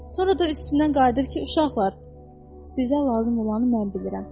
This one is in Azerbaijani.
Sonra da üstündən qayıdır ki, uşaqlar, sizə lazım olanı mən bilirəm.